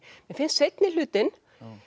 mér finnst seinni hlutinn